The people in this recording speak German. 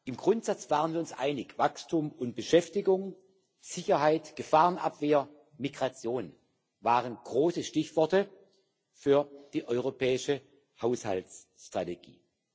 Im Grundsatz waren wir uns einig Wachstum und Beschäftigung, Sicherheit, Gefahrenabwehr, Migration waren große Stichworte für die europäische Haushaltsstrategie.